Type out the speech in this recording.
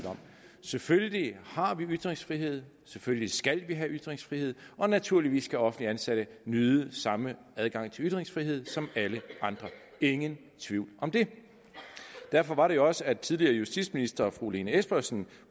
om selvfølgelig har vi ytringsfrihed selvfølgelig skal vi have ytringsfrihed og naturligvis skal offentligt ansatte nyde samme adgang til ytringsfrihed som alle andre ingen tvivl om det derfor var det jo også at tidligere justitsminister fru lene espersen